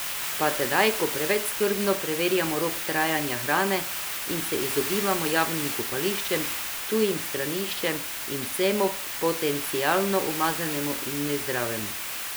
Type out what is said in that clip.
Pa tedaj, ko preveč skrbno preverjamo rok trajanja hrane in se izogibamo javnim kopališčem, tujim straniščem in vsemu potencialno umazanemu in nezdravemu.